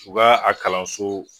U ka a kalanso